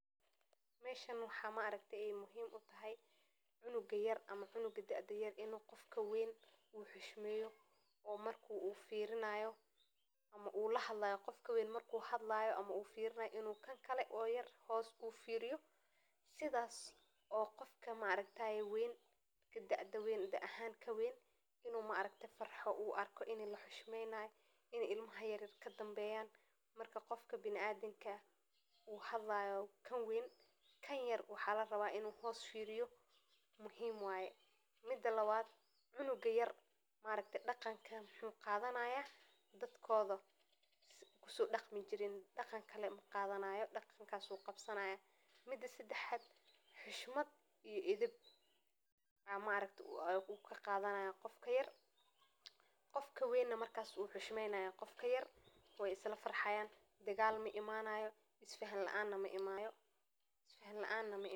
Meshan waxa maaragte ee muhim utahay cunuga yar ama canuga da'ada yar inu qofka weyn uxishmeyo oo marka ufirinaayo ama ulahadlaayo ama qofka weyn maku hadlaayo inu kankale oo yar hoos u firiyo sidas oo qofka maaragtaaye weyn kan da'da wein da'a ahan kawein inu maaragte farxo u arko ini laxushmeynaayo, ini ilmaha yaryar kadambeyaan marka qofka biniadamka uhadlaayo kan wein, kan yar waxa laraba inu hoos firiyo muhim waye, mida lawad canuga yar maaragte dhaqanka wuxu qadanaaya dadkoda kusodhaqmi jiren dhaqankale maqadanaayo dhaqankasu qabsanaya, mida sadaxaad, xishmaad iyo edab aa maaragte ukaqadanaya qofka yar, qofka weyna markas wuxishmeynaya qofka yar wey isla farxayaan, dagaal maimanayo isfahan laana maimaneyso.